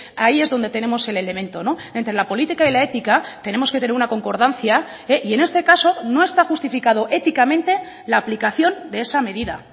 ahí es donde tenemos el elemento entre la política y la ética tenemos que tener una concordancia y en este caso no está justificado éticamente la aplicación de esa medida